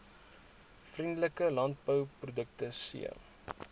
vriendelike landbouprodukte c